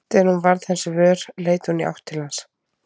Þegar hún varð hans vör leit hún í átt til hans.